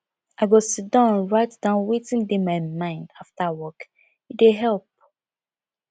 i go sidon write down wetin dey my mind after work e dey help